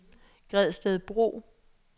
Gredstedbro